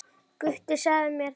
Gutti sagði mér það, já.